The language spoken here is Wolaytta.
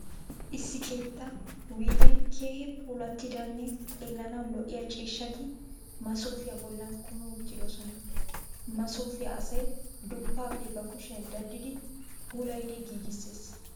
Issi keettaa wuygen keehi puulattidanne xeellanawu lo'iya ciishshati masoofiya bollan kumi uttidosona. Masiofiya asay duppaappe ba kushiyan daddidi puulayidi giigissees.